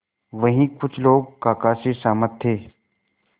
वहीं कुछ लोग काका से सहमत थे